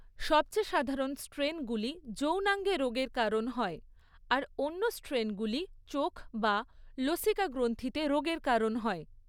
সবচেয়ে সাধারণ স্ট্রেনগুলি যৌনাঙ্গে রোগের কারণ হয়, আর অন্য স্ট্রেনগুলি চোখ বা লসিকাগ্রন্থিতে রোগের কারণ হয়।